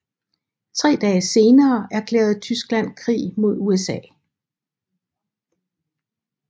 Tre dage senere erklærede Tyskland krig mod USA